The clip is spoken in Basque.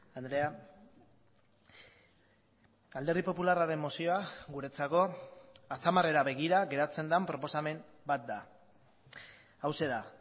andrea alderdi popularraren mozioa guretzako atzamarrera begira geratzen den proposamen bat da hauxe da